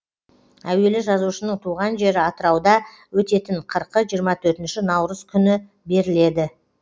әуелі жазушының туған жері атырауда өтетін қырқы жиырма төртінші наурыз күні беріледі